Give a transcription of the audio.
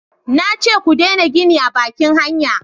na ce ku dena gini a bakin hanya!